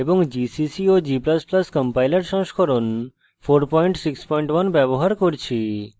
gcc এবং g ++ compiler সংস্করণ 461 ব্যবহার করছি